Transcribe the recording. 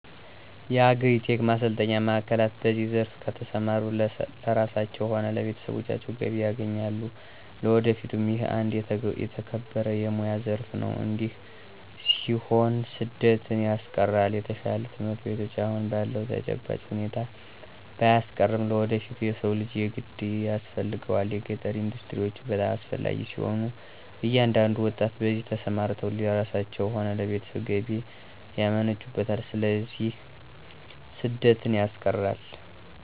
የአግሪ-ቴክ ማሰልጠኛ ማዕከላት በዚህ ዘርፍ ከተሰማሩ ለራሳቸዉም ሆነ ለቤተሰቦቻቸው ገቢ ያገኛሉ ለወደፊቱም ይህ አንድ የተከበረ የሞያ ዘረፍ ነው እዲህ ሲሆን ስደትን ያስቀራል።፣ የተሻሉ ትምህርት ቤቶች አሁን ባለዉ ተጨባጭ ሁኔታ ባያስቀርም ለወደፊቱ የሰው ልጅ የግድ ያስፈልገዋል። የገጠር ኢንዱስትሪዎች በጣም አስፈላጊ ሲሆኑ እያንዳንዱ ወጣት በዚህ ተሰማርተው ለራሳቸው ሆነ ለቤተሰብ ገቢ ያመነጩበታል ስለዚህ ስደትን ያስቀራል።